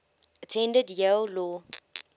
attended yale law